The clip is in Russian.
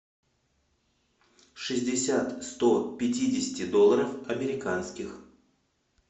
шестьдесят сто пятидесяти долларов американских